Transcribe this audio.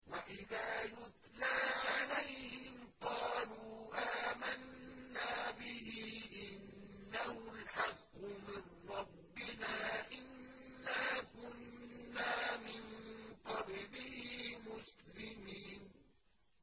وَإِذَا يُتْلَىٰ عَلَيْهِمْ قَالُوا آمَنَّا بِهِ إِنَّهُ الْحَقُّ مِن رَّبِّنَا إِنَّا كُنَّا مِن قَبْلِهِ مُسْلِمِينَ